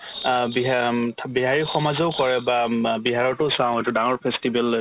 অ, বিহ অ উম থ বিহাৰী সমাজেও কৰে বা বা বিহাৰতো চাও এইটো ডাঙৰ festival